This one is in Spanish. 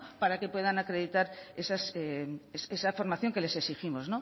para que puedan acreditar esa formación que les exigimos